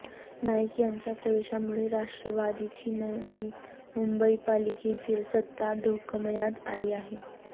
नाईक यांच्या प्रवेशामुळे राष्ट्रवादीची नवी मुंबई पालिकेतील सत्ता धोक्मयात आली आहे